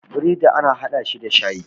bredi ana hada shi da shayi